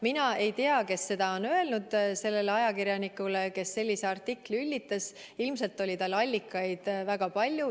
Mina ei tea, kes on seda öelnud sellele ajakirjanikule, kes sellise artikli üllitas, ilmselt oli tal allikaid väga palju.